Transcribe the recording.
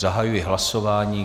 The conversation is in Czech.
Zahajuji hlasování.